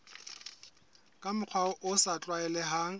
ka mokgwa o sa tlwaelehang